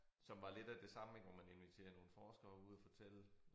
Som var lidt af det samme ik hvor man inviterede nogle forskere ud og fortælle